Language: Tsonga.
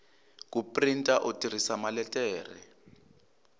ku printa u tirhisa maletere